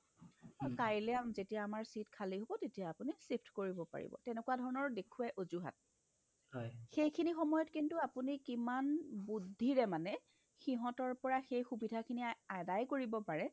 কাইলে আমাৰ যেতিয়া seat খালী হ'ব তেতিয়া আপুনি shift কৰিব পাৰিব তেনেকুৱা ধৰণৰ দেখুৱাই অজুহাত সেইখিনি সময়ত কিন্তু আপুনি কিমান বুদ্ধিৰে মানে সিহ্তৰ পৰা সেই সুবিধাখিনি আদায় কৰিব পাৰে